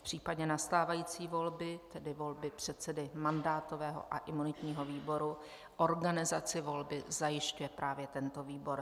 V případě nastávající volby, tedy volby předsedy mandátového a imunitního výboru, organizaci volby zajišťuje právě tento výbor.